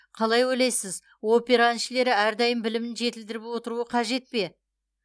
қалай ойлайсыз опера әншілері әрдайым білімін жетілдіріп отыруы қажет пе